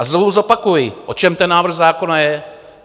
A znovu zopakuji, o čem ten návrh zákona je.